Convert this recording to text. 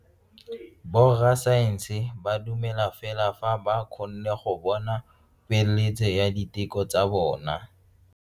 Borra saense ba dumela fela fa ba kgonne go bona poeletso ya diteko tsa bone.